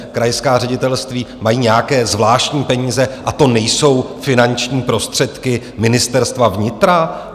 Krajská ředitelství mají nějaké zvláštní peníze a to nejsou finanční prostředky Ministerstva vnitra?